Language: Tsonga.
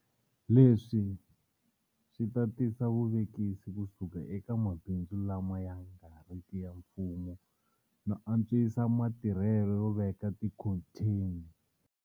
Leswi swi ta tisa vuvekisi kusuka eka mabindzu lama ya nga riki ya mfumo no antswisa matirhelo yo veka tikhontheni.